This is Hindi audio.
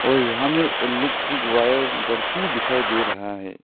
और यहाँ में इलेक्ट्रिक वायर बढ़ती दिखाई दे रहा है।